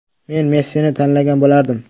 Men Messini tanlagan bo‘lardim.